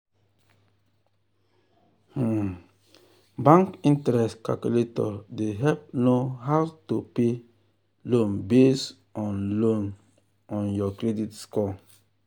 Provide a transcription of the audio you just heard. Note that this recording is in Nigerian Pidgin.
um bank interest calculator dey help know how to um pay um loan based on loan based on your credit score.